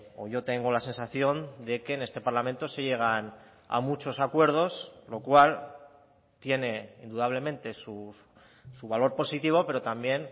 o yo tengo la sensación de que en este parlamento se llegan a muchos acuerdos lo cual tiene indudablemente su valor positivo pero también